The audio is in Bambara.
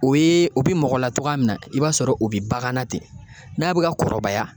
O ye o bi mɔgɔ latɔgɔya min na i b'a sɔrɔ o bi bagan na ten n'a bi ka kɔrɔbaya